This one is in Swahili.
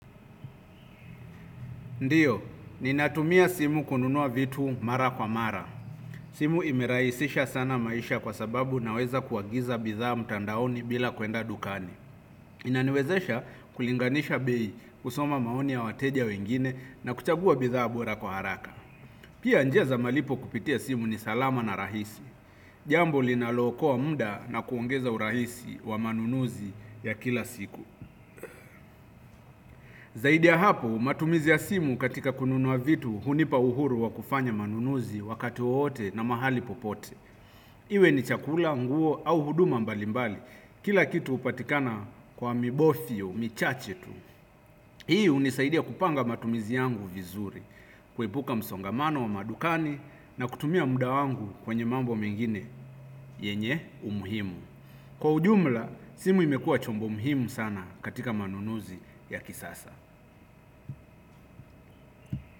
Ndiyo, ninatumia simu kununua vitu mara kwa mara. Simu imerahisisha sana maisha kwa sababu naweza kuagiza bidhaa mtandaoni bila kwenda dukani. Inaniwezesha kulinganisha bei, kusoma maoni ya wateja wengine na kuchagua bidhaa bora kwa haraka. Pia njia za malipo kupitia simu ni salama na rahisi. Jambo linalookoa muda na kuongeza urahisi wa manunuzi ya kila siku. Zaidi ya hapo matumizi ya simu katika kununua vitu, hunipa uhuru wa kufanya manunuzi wakati wowote na mahali popote. Iwe ni chakula, nguo au huduma mbalimbali, kila kitu hupatikana kwa mibofio, michache tu. Hii hunisaidia kupanga matumizi yangu vizuri, kuepuka msongamano wa madukani na kutumia muda wangu kwenye mambo mengine yenye umuhimu. Kwa ujumla, simu imekua chombo muhimu sana katika manunuzi ya kisasa.